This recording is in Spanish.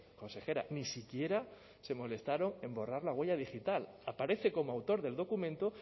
consejera ni siquiera se molestaron en borrar la huella digital aparece como autor del documento